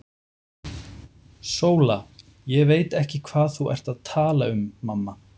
SÓLA: Ég veit ekki hvað þú ert að tala um, mamma.